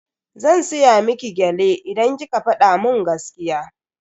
Zan siya miki gyale idan kika fada mun gaskiya.